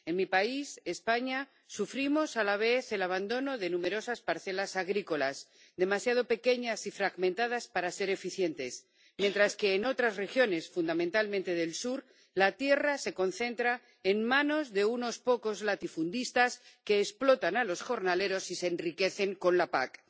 En mi país, España, sufrimos a la vez el abandono de numerosas parcelas agrícolas demasiado pequeñas y fragmentadas para ser eficientes, mientras que en otras regiones, fundamentalmente del sur, la tierra se concentra en manos de unos pocos latifundistas que explotan a los jornaleros y se enriquecen con la PAC.